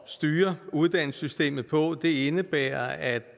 styre uddannelsessystemet på indebærer at